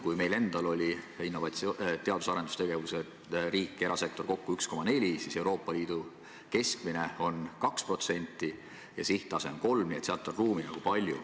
Kui meil endal oli teadus- ja arendustegevuses riik ja erasektor kokku 1,4%, siis Euroopa Liidu keskmine on 2% ja sihttase on 3%, nii et sinna on ruumi palju.